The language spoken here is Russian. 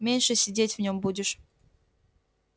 меньше сидеть в нём будешь